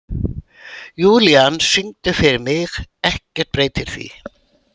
Júlían, syngdu fyrir mig „Ekkert breytir því“.